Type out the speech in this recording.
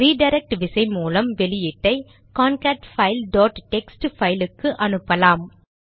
redirect விசை மூலம் வெளியீட்டை கான்கேட்பைல் டாட் டெக்ஸ்ட் பைல் க்கு அனுப்பலாம்